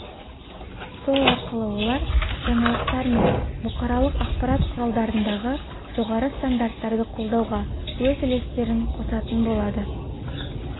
сол арқылы олар жаңалықтар мен бұқаралық ақпарат құралдарындағы жоғары стандарттарды қолдауға өз үлестерін қосатын болады